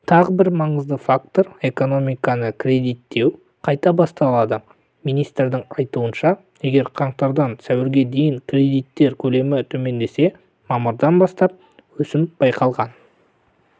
тағы бір маңызды фактор экономиканы кредиттеу қайта басталды министрдің айтуынша егер қаңтардан сәуірге дейін кредиттер көлемі төмендесе мамырдан бастап өсім байқалған